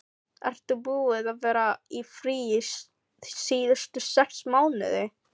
Ertu búinn að vera í fríi síðustu sex mánuði?